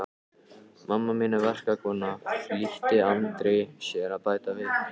Mamma mín er verkakona, flýtti Andri sér að bæta við.